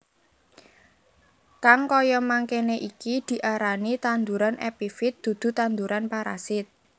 Kang kaya mengkené iki diarani tanduran epifit dudu tanduran parasit